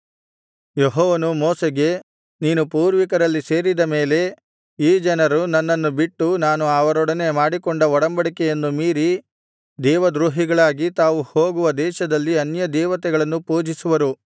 ಯೆಹೋವನು ಮೋಶೆಗೆ ನೀನು ಪೂರ್ವಿಕರಲ್ಲಿ ಸೇರಿದ ಮೇಲೆ ಈ ಜನರು ನನ್ನನ್ನು ಬಿಟ್ಟು ನಾನು ಅವರೊಡನೆ ಮಾಡಿಕೊಂಡ ಒಡಂಬಡಿಕೆಯನ್ನು ಮೀರಿ ದೇವದ್ರೋಹಿಗಳಾಗಿ ತಾವು ಹೋಗುವ ದೇಶದಲ್ಲಿರುವ ಅನ್ಯದೇವತೆಗಳನ್ನು ಪೂಜಿಸುವರು